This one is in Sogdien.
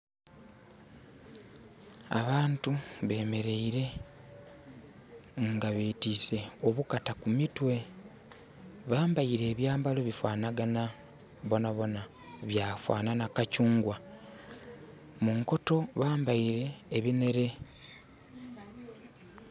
Abantu bemeleire nga betiise obukata ku mitwe. Bambaire ebyambalo bifanagana bonabona. Byafanana kakyungwa. Munkoto bambaire ebinhere